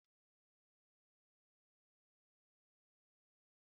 Èé, enwerela m saidin dị n'efere